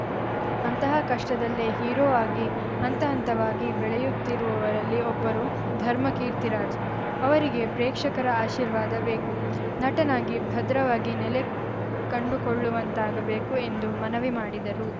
ಅಂತಹ ಕಷ್ಟದಲ್ಲೇ ಹೀರೋ ಆಗಿ ಹಂತ ಹಂತವಾಗಿ ಬೆಳೆಯುತ್ತಿರುವವರಲ್ಲಿ ಒಬ್ಬರು ಧರ್ಮ ಕೀರ್ತಿರಾಜ್‌ ಅವರಿಗೆ ಪ್ರೇಕ್ಷಕರ ಆಶೀರ್ವಾದ ಬೇಕು ನಟನಾಗಿ ಭದ್ರವಾಗಿ ನೆಲೆ ಕಂಡುಕೊಳ್ಳುವಂತಾಗಬೇಕು ಎಂದು ಮನವಿ ಮಾಡಿದರು